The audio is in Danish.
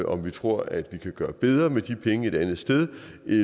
om vi tror at vi kan gøre det bedre med de penge et andet sted